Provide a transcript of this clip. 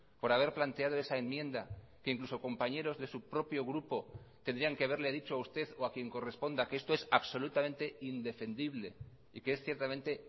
por haber planteado esa enmienda que incluso compañeros de su propio grupo tendrían que haberle dicho a usted o a quien corresponda que esto es absolutamente indefendible y que es ciertamente